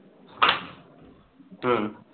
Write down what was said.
হম